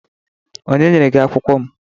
Onye nyere gị akwukwo m?